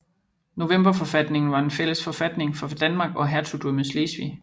Novemberforfatningen var en fælles forfatning for Danmark og hertugdømmet Slesvig